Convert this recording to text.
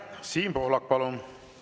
Siim Pohlak, palun!